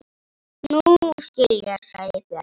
Nú skil ég, sagði Björg.